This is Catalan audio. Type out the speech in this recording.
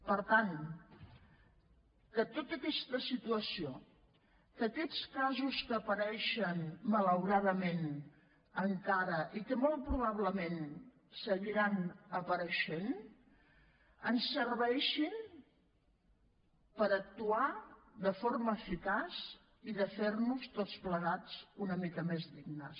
per tant que tota aquesta situació que aquests casos que apareixen malauradament encara i que molt probablement seguiran apareixent ens serveixin per actuar de forma eficaç i de fer nos tots plegats una mica més dignes